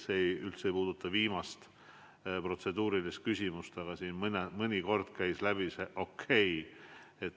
See ei puuduta üldse viimast protseduurilist küsimust, vaid siin mõnikord käis läbi see "okei".